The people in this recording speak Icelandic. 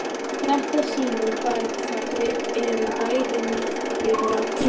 Þetta sýnir bara hvað við erum bæði miklir kjánar.